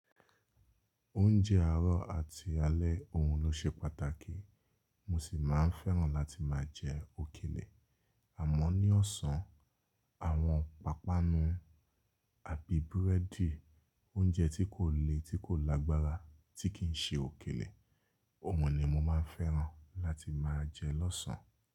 Oúnjẹ àárọ̀ àti alẹ́ òhun ló ṣe pàtàkì, mo sì máa ń fẹ́ràn láti máa jẹ òkèlè. Àmọ́ ní ọ̀sán, àwọn pàpanu àbí búrẹ́dì, oúnjẹ tí kò le, tí kò lágbára tí kì ń ṣe òkèlè, òhun ni mo máa ń fẹ́ràn láti máa jẹ lọ́sàn án.